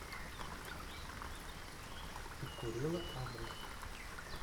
тиккурила адрес